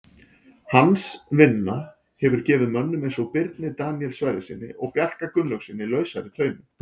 Hans vinna hefur gefið mönnum eins og Birni Daníel Sverrissyni og Bjarka Gunnlaugssyni lausari tauminn.